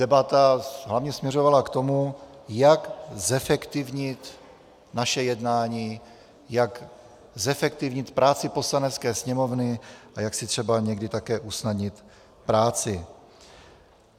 Debata hlavně směřovala k tomu, jak zefektivnit naše jednání, jak zefektivnit práci Poslanecké sněmovny a jak si třeba někdy také usnadnit práci.